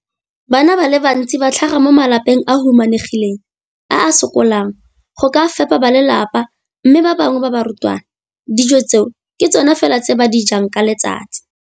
Bana ba le bantsi ba tlhaga mo malapeng a a humanegileng a a sokolang go ka fepa ba lelapa mme ba bangwe ba barutwana, dijo tseo ke tsona fela tse ba di jang ka letsatsi.